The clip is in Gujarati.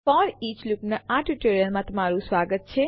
ફોરીચ લૂપના આ ટ્યુટોરીયલમાં તમારું સ્વાગત છે